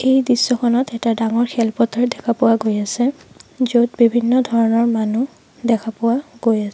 এই দৃশ্যখনত এটা ডাঙৰ খেল পথাৰ দেখা পোৱা গৈ আছে য'ত বিভিন্ন ধৰণৰ মানুহ দেখা পোৱা গৈ আছে।